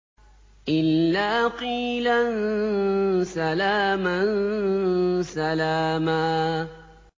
إِلَّا قِيلًا سَلَامًا سَلَامًا